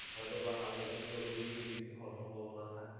হয়তোবা হালকা বৃষ্টি বা গুড়ি গুড়ি বৃষ্টি হবার সম্ভাবনা থাক